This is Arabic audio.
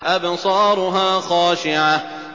أَبْصَارُهَا خَاشِعَةٌ